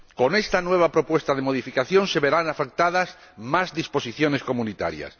Con esta nueva propuesta de modificación se verán afectadas más disposiciones comunitarias.